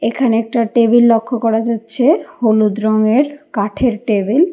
এখানে একটা টেবিল লক্ষ করা যাচ্ছে হলুদ রঙের কাঠের টেবিল ।